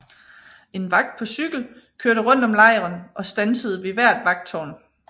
En vagt på cykel kørte rundt om lejren og standsede ved hvert vagttårn